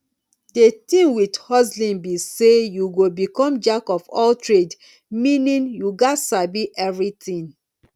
the thing with hustling be say you go become jack of all trade meaning you gats sabi everything